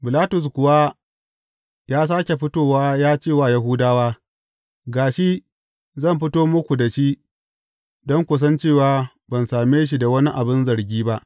Bilatus kuwa ya sāke fitowa ya ce wa Yahudawa, Ga shi, zan fito muku da shi don ku san cewa ban same shi da wani abin zargi ba.